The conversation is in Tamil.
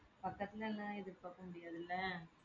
பக்கத்துல எல்லாம் எதிர்பாக்கமுடியாதுல்ல